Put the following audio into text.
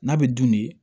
N'a bɛ dun ni